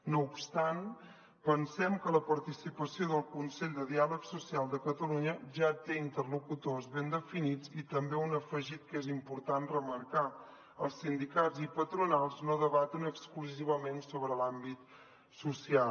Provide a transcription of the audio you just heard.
no obstant pensem que la participació del consell de diàleg social de catalunya ja té interlocutors ben definits i també un afegit que és important remarcar els sindicats i patronals no debaten exclusivament sobre l’àmbit social